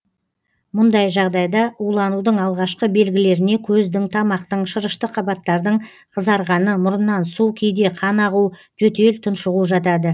мұндай жағдайда уланудың алғашқы белгілеріне көздің тамақтың шырышты қабаттардың қызарғаны мұрыннан су кейде қан ағу жөтел тұншығу жатады